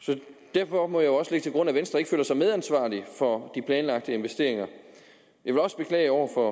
derfor må jeg også lægge til grund at venstre ikke føler sig medansvarlig for de planlagte investeringer jeg vil også beklage over for